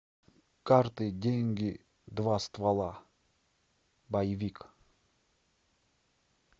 карты деньги два ствола боевик